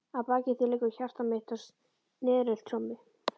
Að baki því leikur hjarta mitt á sneriltrommu.